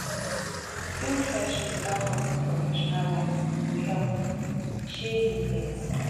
build friendship without crossing professional lines e go help um you plenty